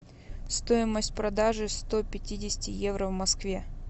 стоимость продажи сто пятидесяти евро в москве